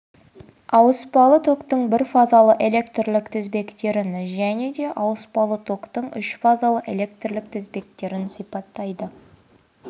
ауыспалы токтың бірфазалы электрлік тізбектерін және де ауыспалы токтың үшфазалы электрлік тізбектерді сипаттайды